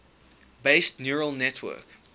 based neural network